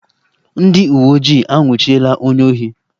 Ndị uweojii anwụchiela onye ohi